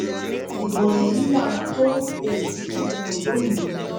ibo èyí làwọn tó um fẹẹ dúpọ londo